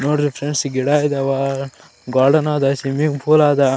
ನೋಡ್ಇ friends ಈ ಗಿಡ ಅದಾವ ಗಾರ್ಡನ್ ಆದ್ ಸ್ವಿಮ್ಮಿಂಗ್ ಪೂಲ್ ಆದ .